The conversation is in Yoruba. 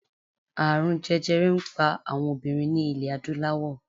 Ààrun jẹjẹrẹ n pa awọn obinrin ni ilẹ adulawọ